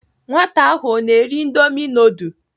Nwata ahụ ọ ná-eri indomi nudul?